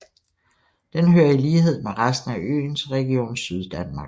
Den hører i lighed med resten af øen til Region Syddanmark